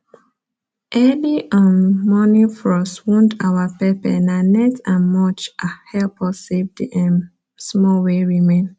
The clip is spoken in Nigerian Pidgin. early um morning frost wound our pepperna net and mulch um help us save the um small wey remain